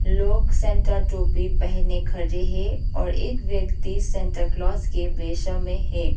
लोग सैंटा टोपी पहने खड़े है और एक व्यक्ति सैंटा क्लॉस के वेश में है।